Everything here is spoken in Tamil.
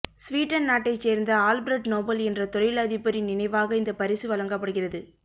சுவீடன் நாட்டை சேர்ந்த ஆல்பிரட் நோபல் என்ற தொழில் அதிபரின் நினைவாக இந்த பரிசு வழங்கப்படுகிறது